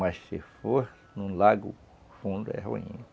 Mas se for num lago fundo, é ruim.